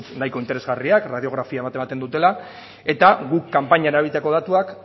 nik uste dut nahiko interesgarriak radiografia bat ematen dutela eta guk kanpainan erabilitako datuak